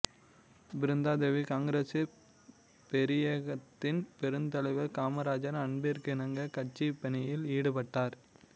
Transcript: பிருந்தாதேவி காங்கிரசு பேரியக்கத்தில் பெருந்தலைவர் காமராஜரின் அன்பிற்கிணங்க கட்சிப்பணியில் ஈடுபட்டார்